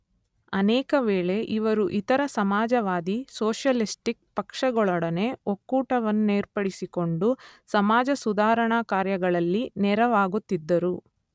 ಅನೇಕ ವೇಳೆ ಇವರು ಇತರ ಸಮಾಜವಾದಿ (ಸೋಷಿಯಲಿಸ್ಟಿಕ್) ಪಕ್ಷಗಳೊಡನೆ ಒಕ್ಕೂಟವನ್ನೇರ್ಪಡಿಸಿಕೊಂಡು ಸಮಾಜಸುಧಾರಣಾ ಕಾರ್ಯಗಳಲ್ಲಿ ನೆರವಾಗುತ್ತಿದ್ದರು.